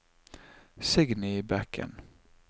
Signy Bekken